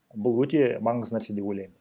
бұл өте маңызды нәрсе деп ойлаймын